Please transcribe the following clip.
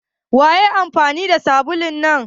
Waye ya yi amfani da sabulu na?